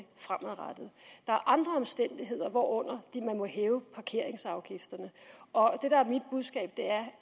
fremadrettet der er andre omstændigheder hvorunder de må hæve parkeringsafgifterne og det der er mit budskab er